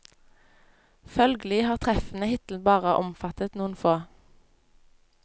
Følgelig har treffene hittil bare omfattet noen få.